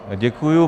Děkuji.